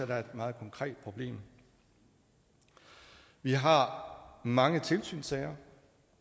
der er et meget konkret problem vi har mange tilsynssager